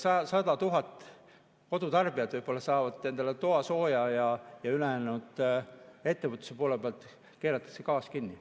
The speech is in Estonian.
100 000 kodutarbijat võib-olla saavad endale toasooja, aga ettevõtluse poolel keeratakse gaas kinni.